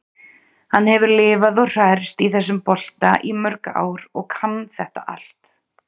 Hann hefur lifað og hrærst í þessum bolta í mörg ár og kann þetta allt.